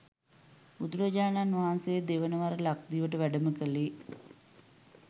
බුදුරජාණන් වහන්සේ දෙවන වර ලක්දිවට වැඩම කළේ